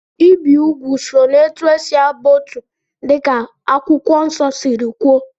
Ibi úgwù so na etu esi aba otu dịka Akwụkwọ Nsọ siri kwuo